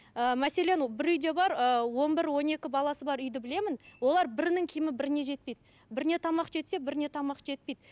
ыыы мәселен бір үйде бар ыыы он бір он екі баласы бар үйді білемін олар бірінің киімі біріне жетпейді біріне тамақ жетсе біріне тамақ жетпейді